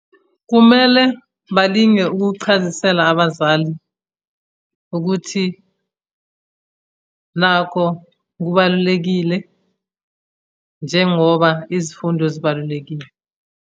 Kumele balinge ukuchazisela abazali ukuthi, nakho kubalulekile njengoba izifundo zibalulekile.